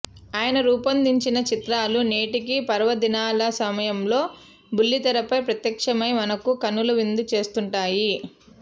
ఆయన రూపొందించిన చిత్రాలు నేటికీ పర్వదినాల సమయంలో బుల్లితెరపై ప్రత్యక్షమై మనకు కనుల విందు చేస్తుంటాయి